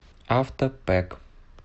авто пэк